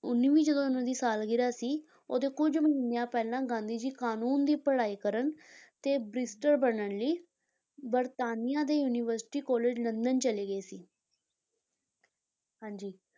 ਉੱਨੀ ਵੀਂ ਜਦੋਂ ਇਹਨਾਂ ਦੀ ਸਾਲਗਿਰਾਹ ਸੀ ਉਹਦੇ ਕੁੱਝ ਮਹੀਨਿਆਂ ਪਹਿਲਾਂ, ਗਾਂਧੀ ਜੀ ਕਾਨੂੰਨ ਦੀ ਪੜ੍ਹਾਈ ਕਰਨ ਤੇ barrister ਬਣਨ ਲਈ, ਬਰਤਾਨੀਆ ਦੇ university college ਲੰਦਨ ਚਲੇ ਗਏ ਸੀ ਹਾਂਜੀ।